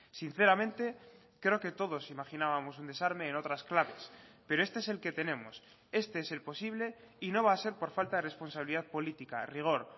sinceramente creo que todos imaginábamos un desarme en otras claves pero este es el que tenemos este es el posible y no va a ser por falta de responsabilidad política rigor